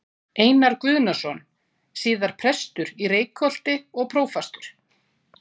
Einar Guðnason, síðar prestur í Reykholti og prófastur.